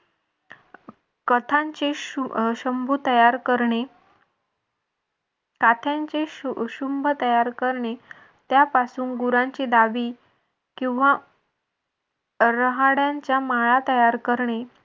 कथांचे शंभू तयार करणे काठ्यांचे शुंभ तयार करणे त्यांपासून गुरांची दावी किंवा राहाडांच्या माळा तयार करणे.